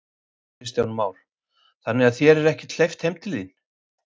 Kristján Már: Þannig að þér er ekkert hleypt heim til þín?